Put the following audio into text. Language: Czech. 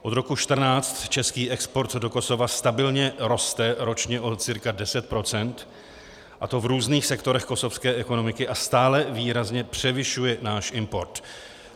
Od roku 2014 český export do Kosova stabilně roste ročně o cca 10 %, a to v různých sektorech kosovské ekonomiky, a stále výrazně převyšuje náš import.